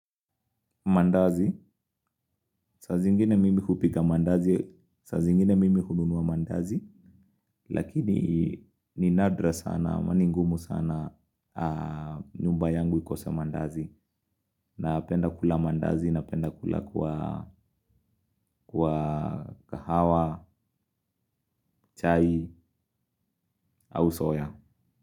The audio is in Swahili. Mandazi, saa zingine mimi hupika mandazi, saa zingine mimi hununua mandazi, lakini ni nadra sana, ama ni ngumu sana nyumba yangu ikose mandazi, napenda kula mandazi, napenda kula kwa kahawa, chai, au soya.